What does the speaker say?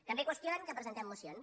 també qüestionen que presentem mocions